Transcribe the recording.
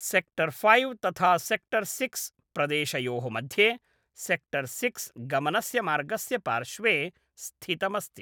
Sector five तथा sector six प्रदेशयोः मध्ये, सेक्टर् सिक्स् गमनस्य मार्गस्य पार्श्वे स्थितमस्ति।